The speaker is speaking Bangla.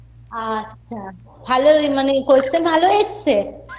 আচ্ছা ভালোই মানে question ভালো এসছে